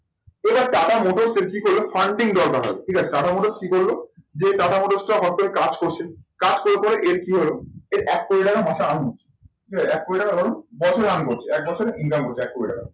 এবার Tata motor funding সরকার হবে ঠিক আছে টাটা মোটর কি করলো যে টাটা মোটরসটা কাজ করছে কাজ করে করে কি হলো এর এক কোটি টাকা মাসে earning হলো। ঠিক আছে এক কোটি টাকা ধরুন বছরে earn করছে এক বছরে income করছে এক কোটি টাকা।